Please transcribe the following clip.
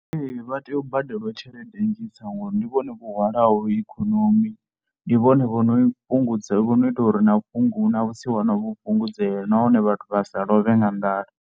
Ee vha tea u badelwa tshelede nnzhi dza hone ngori ndi vhone vho hwalaho ikonomi. Ndi vhone vho no i fhungudza, vho no ita uri na u fhungudza vhusiwana vhu fhungudzee nahone vhathu vha sa lovhe nga nḓala.